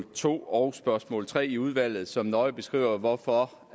to og spørgsmål tre i udvalget som nøje beskriver hvorfor